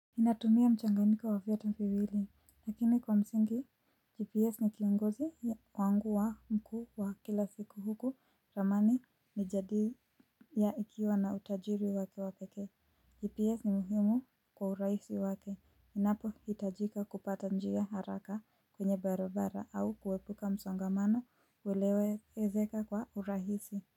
Natumia mchanganyiko wa vyote viwili, lakini kwa msingi 'GPS' ni kiongozi wangu mkuu wa kila siku huku ramani ni jadili ya ikiwa na utajiri wake wa pekee. 'GPS' ni muhimu kwa urahisi wake. Inapohitajika kupata njia haraka kwenye barabara au kuepuka msongamano uwelewe ezeka kwa urahisi.